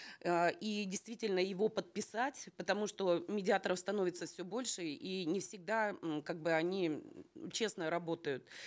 э и действительно его подписать потому что э медиаторов становится все больше и не всегда м как бы они м честно работают